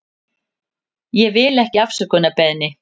Ég vil ekki afsökunarbeiðni.